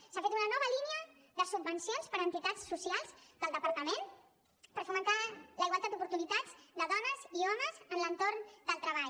s’ha fet una nova línia de subvencions per a entitats socials del departament per fomentar la igualtat d’oportunitats de dones i homes en l’entorn del treball